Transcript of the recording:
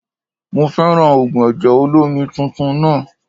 Mo fẹ́ràn ògùn ẹ̀jẹ̀ olómi titun náà